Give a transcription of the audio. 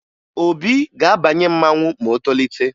Obi ga-abanye mmanwụ ma o tolite